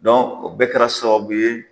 Dɔn o bɛɛ kɛra sababu ye